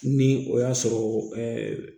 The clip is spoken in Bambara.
Ni o y'a sɔrɔ